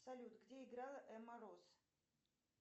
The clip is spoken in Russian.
салют где играла эмма роз